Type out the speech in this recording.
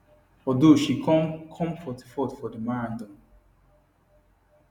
although she come come 44th for di marathon